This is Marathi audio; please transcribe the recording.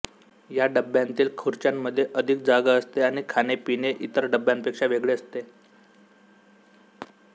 या डब्यातील खुर्च्यांमध्ये अधिक जागा असते आणि खाणेपिणे इतर डब्यांपेक्षा वेगळे असते